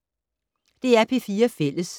DR P4 Fælles